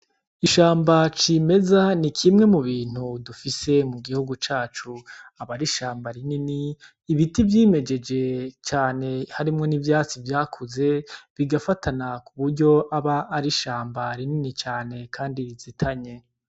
Ishamba cimeza ni kimwe mubintu dufise mugihugu cacu aba ari ishamba rinini cane ibiti vyimejeje cane harimwo n' ivyatsi vyakuze bigafatana kuburyo aba ari ishamba rinini cane Kandi bizitanye.